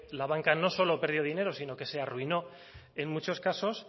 la banca no solo perdió dinero sino que se arruinó en muchos casos